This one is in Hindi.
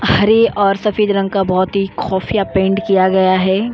हरे और सफेद रंग का बहुत ही खौफिया पेंट किया गया है।